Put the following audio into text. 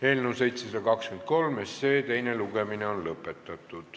Eelnõu 723 teine lugemine on lõpetatud.